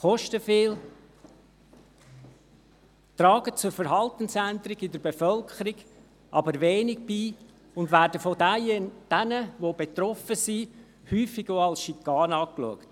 sie kosten viel, tragen aber wenig zur Verhaltensänderung der Bevölkerung bei und werden von denjenigen, die betroffen sind, häufig auch als Schikane betrachtet.